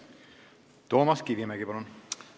Toomas Kivimägi, palun!